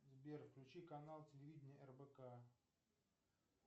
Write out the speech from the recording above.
сбер включи канал телевидения рбк